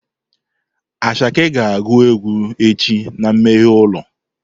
Asake ga agu egwu echi na mmeghe ulo.